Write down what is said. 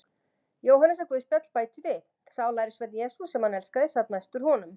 Jóhannesarguðspjall bætir við: Sá lærisveinn Jesú, sem hann elskaði, sat næstur honum.